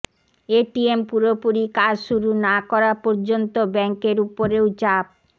ATM পুরোপুরি কাজ শুরু না করা পর্যন্ত ব্যাঙ্কের উপরেও চাপ